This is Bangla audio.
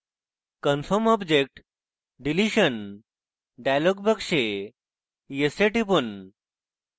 confirm object deletion dialog box yes এ টিপুন